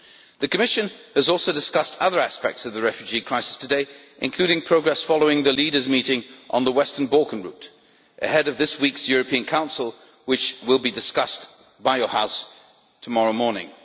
The Commission has also discussed other aspects of the refugee crisis today, including progress following the Leaders' Meeting on the Western Balkan route ahead of this week's European Council, which will be discussed by your House tomorrow morning.